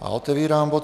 A otevírám bod